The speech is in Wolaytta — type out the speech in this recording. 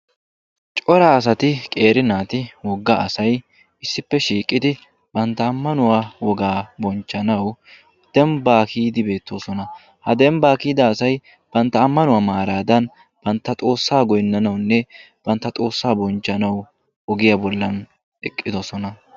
cora asati qeeri naati woga asay issippe shiiqidi bantta ammanuwaa wogaa bonchchanaw dembba kiyyidi beettoosona. ha dembbaa kiyyida asay bantta ammanuwaa maaradan bantta xoossa goynnawunne banttaa xoossa bonchchanaw ogiya bollan eqqidoosona.